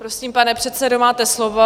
Prosím, pane předsedo, máte slovo.